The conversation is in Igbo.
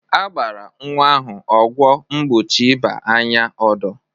A gbara nwa ahụ ọgwọ mgbochie ịba anya odo.